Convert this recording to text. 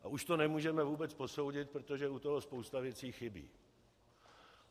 A už to nemůžeme vůbec posoudit, protože u toho spousta věcí chybí.